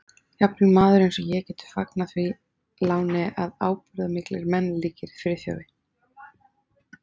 Jafnvel maður eins og ég getur fagnað því láni að ábúðarmiklir menn líkir Friðþjófi